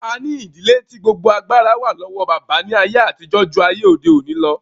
A ní ìdílé tí gbogbo agbára wà lọ́wọ́ bàbá ní àyè àtijọ́ ju ayé òde òní lọ